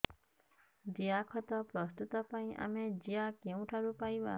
ଜିଆଖତ ପ୍ରସ୍ତୁତ ପାଇଁ ଆମେ ଜିଆ କେଉଁଠାରୁ ପାଈବା